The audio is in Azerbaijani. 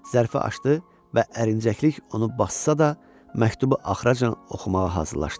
Zərfi açdı və ərincəklik onu bassa da, məktubu axıra can oxumağa hazırlaşdı.